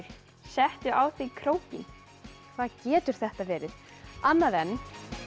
settu á þig krókinn hvað getur þetta verið annað en